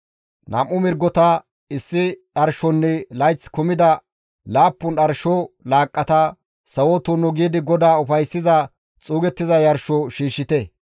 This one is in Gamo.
Nam7u mirgota, issi dharshonne layth kumida laappun dharsho laaqqata sawo tunnu giidi GODAA ufayssiza xuugettiza yarsho shiishshite.